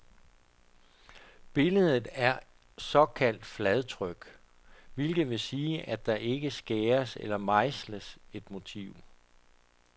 Billedet er såkaldt fladtryk, hvilket vil sige, at der ikke skæres eller mejsles et motiv.